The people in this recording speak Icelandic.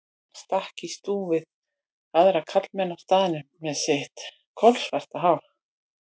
Hann stakk í stúf við aðra karlmenn á staðnum með sitt kolsvarta hár.